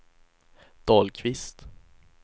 Dahlqvist